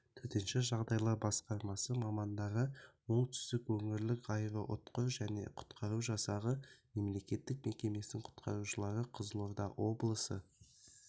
төтенше жағдайлар басқармасы мамандары оңтүстік өңірлік аэроұтқыр жедел құтқару жасағы мемлекеттік мекемесінің құтқарушылары қызылорда облысы